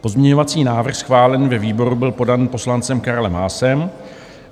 Pozměňovací návrh schválený ve výboru byl podán poslancem Karlem Haasem.